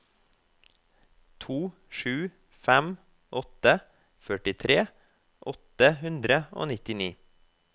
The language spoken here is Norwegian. to sju fem åtte førtitre åtte hundre og nittini